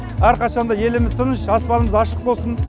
әрқашан да еліміз тыныш аспанымыз ашық болсын